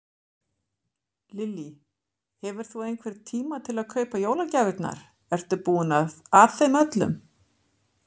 Lillý: Hefur þú einhvern tíma til að kaupa jólagjafirnar, ertu búinn að þeim öllum?